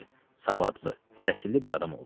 Savadlı, təhsilli bir adam oldu.